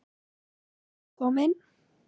Friðrik kom inn.